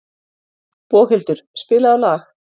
Boghildur, spilaðu lag.